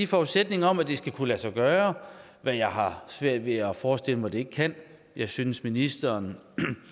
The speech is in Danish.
forudsætning om at det skal kunne lade sig gøre hvad jeg har svært ved at forestille mig det ikke kan jeg synes ministeren